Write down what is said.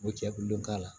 U bɛ cɛkulu k'a la